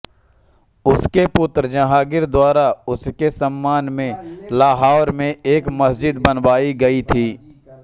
उसके पुत्र जहांगीर द्वारा उसके सम्मान में लाहौर में एक मस्जिद बनवायी गई थी